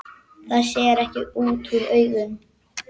Það sér ekki útúr augum.